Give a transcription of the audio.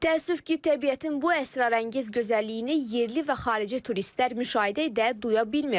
Təəssüf ki, təbiətin bu əsrarəngiz gözəlliyini yerli və xarici turistlər müşahidə edə, duya bilmir.